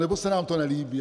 Nebo se nám to nelíbí?